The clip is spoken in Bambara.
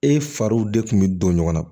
E fariw de kun bɛ don ɲɔgɔn na